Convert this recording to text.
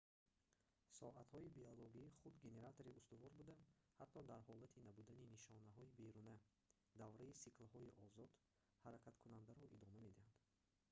соатҳои биологӣ худ генератори устувор буда ҳатто дар ҳолати набудани нишонаҳои беруна давраи сиклҳои озод ҳаракаткунандаро идома медиҳанд